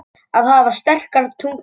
Að hafa sterkar taugar